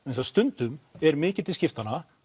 stundum er mikið til skiptanna